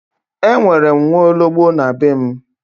E nwere m nwaologbo na be m.